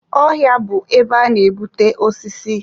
Ọhịa bụ ebe a na-ebute osisi.